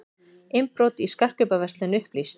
Innbrot í skartgripaverslun upplýst